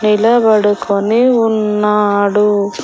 నిలబడుకొని ఉన్నాడు.